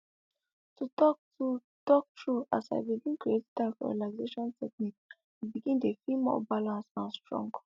to talk to talk true as l begin create time for relaxation technique i begin dey feel more balance and strong